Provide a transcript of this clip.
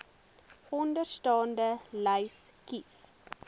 onderstaande lys kies